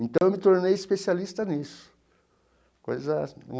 Então eu me tornei especialista nisso coisa.